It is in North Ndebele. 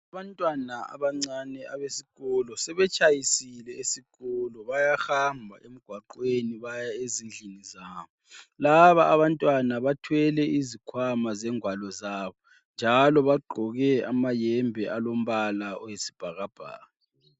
Abantwana abancane abesikolo sebetshayisile esikolo. Bayahamba emgwaqweni baya ezindlini zabo. Laba abantwana bathwele izikhwama zengwalo zabo njalo bagqoke amayembe alombala oyisibhakabhaka.